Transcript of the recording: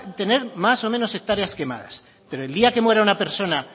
tener más o menos hectáreas quemadas pero el día que muera una persona